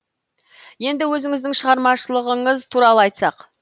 енді өзіңіздің шығармашылығыңыз туралы айтсақ